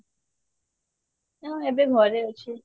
ହଁ ଏବେ ଘରେ ଅଛି